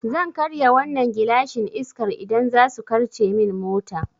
Zan karya wannan gilashin Iskar idan zasu karce min mota